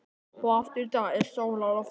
Og aftur í dag er sól á lofti.